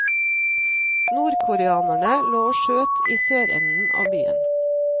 Nordkoreanerne lå og skjøt i sørenden av byen.